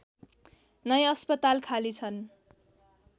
नै अस्पताल खाली छन्